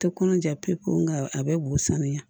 Tɛ kɔnɔ ja pe pewu n ka a bɛɛ b'u sanuya